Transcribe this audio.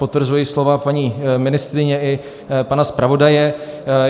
Potvrzuji slova paní ministryně i pana zpravodaje.